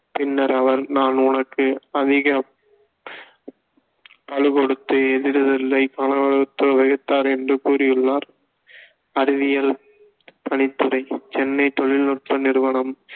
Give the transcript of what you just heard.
பின்னர் அவர் நான் உனக்கு அதிக பளு கொடுத்து என்று கூறியுள்ளார் அறிவியல் பணித்துறை சென்னை தொழில்நுட்ப நிறுவனம்